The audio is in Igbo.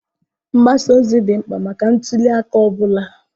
Mgbasa ozi dị mkpa maka ntuli aka ọ bụla.